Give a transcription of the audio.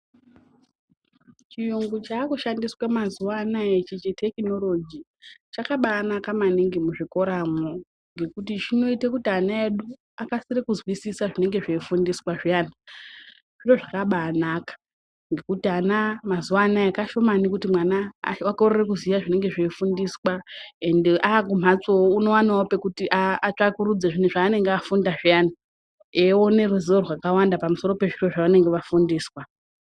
Chiyungu chaakushandiswe mazuwa anaya ichi che tekinoroji chakabaanaka maningi muzvikoramwo ngekuti chinoite kuti ana edu akasire kuzwisisa zvinenge zveifundiswa zviyani zviro zvakabaanaka ngekuti ana mazuwa anaya kashomani kuti mwana akorere kuziya zvinenge zveifundiswa ende akumhatso unowanawo pekuti atsvakurudze zvaanenge afundiswa zviyani eione ruziwo rwakawanda pamusoro pezviro zvaanenge afundiswa.